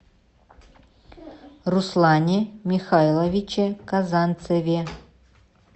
руслане михайловиче казанцеве